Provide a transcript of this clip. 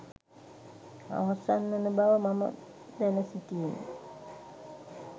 අවසන් වන බව මම දැන සිටියෙමි